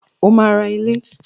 O máa ra ilé.